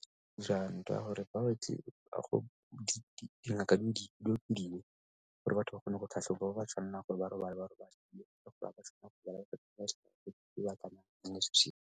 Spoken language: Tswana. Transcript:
ka gore dingaka di gore batho ba kgone go tlhatlhobiwa ba bo ba tshwanela gore ba ka gore hmga ba tshwanela gore ba .